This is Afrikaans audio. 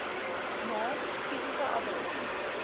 naam fisiese adres